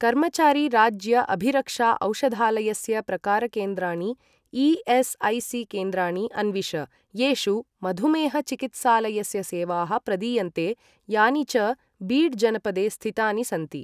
कर्मचारी राज्य अभिरक्षा औषधालयस्य प्रकारकेन्द्राणि ई.एस्.ऐ.सी.केन्द्राणि अन्विष येषु मधुमेह चिकित्सालयस्य सेवाः प्रदीयन्ते यानि च बीड जनपदे स्थितानि सन्ति।